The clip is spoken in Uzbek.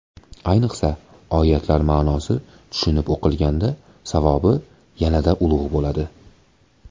Ayniqsa, oyatlar ma’nosi tushunib o‘qilganda savobi yanada ulug‘ bo‘ladi.